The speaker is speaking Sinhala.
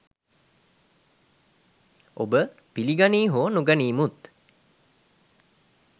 ඔබ පිළිගනී හෝ නොගනී මුත්